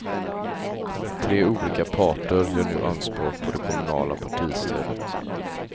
Tre olika parter gör nu anspråk på det kommunala partistödet.